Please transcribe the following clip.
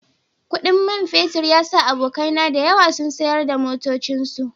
Kudin man fetur ya sa abokaina da yawa suka sayar da motocinsu